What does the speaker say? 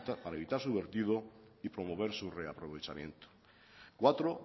para evitar su vertido y promover su reaprovechamiento cuatro